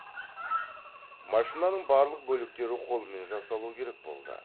машинаның барлық бөліктері қолмен жасалу керек болды